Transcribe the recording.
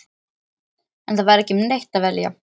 En það var ekki um neitt að velja.